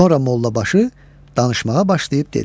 Sonra Mollabaşı danışmağa başlayıb dedi.